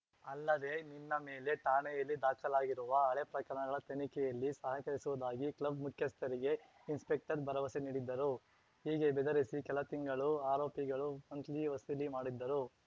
ಅಲ್ಲದೆ ನಿನ್ನ ಮೇಲೆ ಠಾಣೆಯಲ್ಲಿ ದಾಖಲಾಗಿರುವ ಹಳೆ ಪ್ರಕರಣಗಳ ತನಿಖೆಯಲ್ಲಿ ಸಹಕರಿಸುವುದಾಗಿ ಕ್ಲಬ್‌ ಮುಖ್ಯಸ್ಥರಿಗೆ ಇನ್ಸ್‌ಪೆಕ್ಟರ್‌ ಭರವಸೆ ನೀಡಿದ್ದರು ಹೀಗೆ ಬೆದರಿಸಿ ಕೆಲ ತಿಂಗಳು ಆರೋಪಿಗಳು ಮಂತ್ಲಿ ವಸೂಲಿ ಮಾಡಿದ್ದರು